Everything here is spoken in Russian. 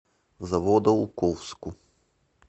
заводоуковску